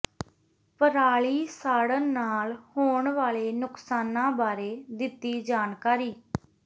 ਪਰਾਲੀ ਸਾੜਨ ਨਾਲ ਹੋਣ ਵਾਲੇ ਨੁਕਸਾਨਾਂ ਬਾਰੇ ਦਿੱਤੀ ਜਾਣਕਾਰੀ